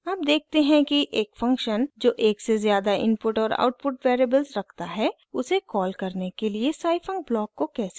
अब देखते हैं कि एक फंक्शन जो एक से ज़्यादा इनपुट और आउटपुट वेरिएबल्स रखता है उसे कॉल करने के लिए scifunc ब्लॉक को कैसे एडिट करते हैं